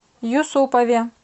юсупове